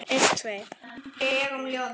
Alltaf mikið að gera.